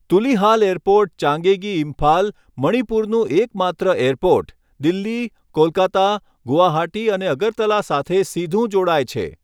Tulihal airport, Changangei, Imphal, મણિપુરનું એકમાત્ર airport, Delhi, Kolkata, Guwahati અને અગરતલા સાથે સીધું જોડાય છે.